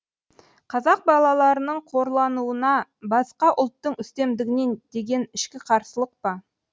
қазақ балаларының қорлануына басқа ұлттың үстемдігіне деген ішкі қарсылық па